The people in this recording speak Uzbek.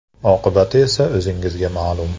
Oqibati esa o‘zingizga ma’lum.